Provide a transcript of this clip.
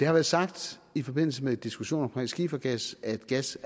har været sagt i forbindelse med diskussionen om skifergas at gas